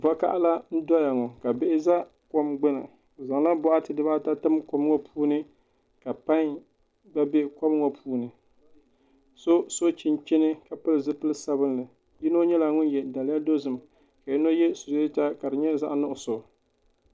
Vakaɣala n doya ŋo ka bihi do kom gbuni bi zaŋla boɣati dibaata tim kom ŋo puuni ka pai gba bɛ kom ŋo puuni so so chinchini ka pili zipili sabinli yino nyɛla ŋun yɛ daliya dozim ka yino yɛ suyeeta ka di nyɛ zaŋ nuɣso